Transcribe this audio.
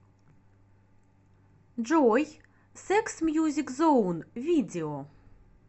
джой секс мьюзик зоун видео